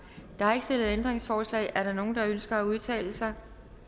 der er ikke stillet ændringsforslag er der nogen der ønsker at udtale sig